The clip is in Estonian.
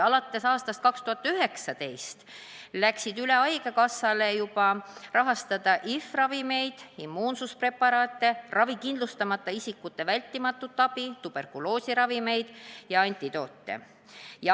Alates aastast 2019 sai haigekassa kohustuseks rahastada HIV-ravimeid, immuunsuspreparaate, ravikindlustamata isikute vältimatut abi, tuberkuloosiravimeid ja antidoote.